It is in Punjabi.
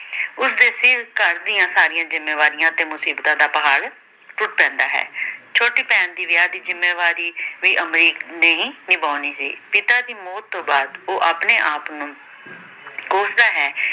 ਉਸ ਦੇ ਸਿਰ ਘਰ ਦੀਆਂ ਸਾਰੀਆਂ ਜਿੰਮੇਵਾਰੀਆਂ ਤੇ ਮੁਸਬਿਤਾਂ ਦਾ ਪਹਾੜ ਟੁੱਟ ਪੈਂਦਾ ਹੈ। ਛੋਟੀ ਭੈਣ ਦੇ ਵਿਆਹ ਦੀ ਜਿੰਮੇਵਾਰੀ ਵੀ ਅਮਰੀਕ ਨੇ ਹੀ ਨਿਭਾਉੇਣੀ ਸੀ। ਪਿਤਾ ਦੀ ਮੌਤ ਤੋਂ ਬਾਅਦ ਉਹ ਆਪਣੇ ਆਪ ਨੂੰ ਕੋਸਦਾ ਹੈ।